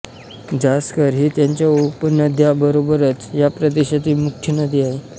झांस्कर ही त्याच्या उपनद्यांबरोबरच या प्रदेशातील मुख्य नदी आहे